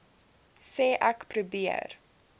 sê ek probeer